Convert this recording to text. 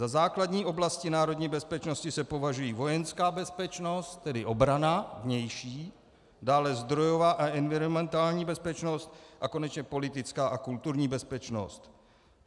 Za základní oblasti národní bezpečnosti se považují vojenská bezpečnost, tedy obrana vnější, dále zdrojová a environmentální bezpečnost a konečně politická a kulturní bezpečnost.